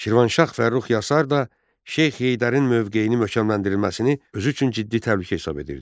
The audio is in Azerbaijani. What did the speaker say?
Şirvanşah Fərrux Yasar da Şeyx Heydərin mövqeyinin möhkəmləndirilməsini özü üçün ciddi təhlükə hesab edirdi.